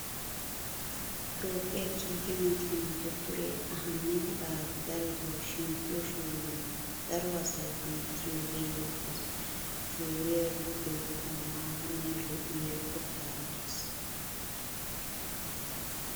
Toophphiya kiike moconaa dottoriya ahimeda aabi darotoo shemppiyo shuuriyan daro asay hemettiyaagee beettes. Shuuriya giddoyikka maata Mera lo'iya qottaara des.